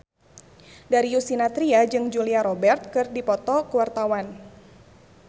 Darius Sinathrya jeung Julia Robert keur dipoto ku wartawan